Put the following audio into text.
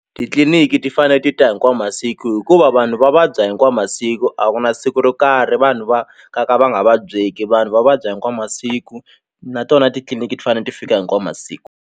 Titliliniki ti fane ti ta hinkwawu masiku hikuva vanhu va vabya hinkwawu masiku a ku na siku ro karhi vanhu va ka ka va nga vabyeki vanhu va vabya hinkwawu masiku na tona titliliniki ti fane ti fika hinkwawu masiku.